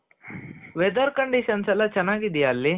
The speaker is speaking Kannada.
weather conditions ಎಲ್ಲಾ ಚೆನಾಗ್ ಇದಿಯ ಅಲ್ಲಿ .